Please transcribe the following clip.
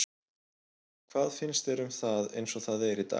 Hvað finnst þér um það eins og það er í dag?